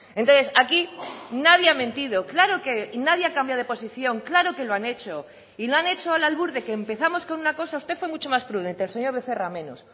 entonces aquí nadie ha mentido claro que nadie ha cambiado de posición claro que lo han hecho y lo han hecho al albur de que empezamos con una cosa usted fue mucho más prudente el señor becerra menos